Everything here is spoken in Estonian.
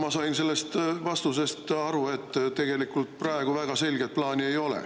Ma sain sellest vastusest aru, et tegelikult praegu väga selget plaani ei ole.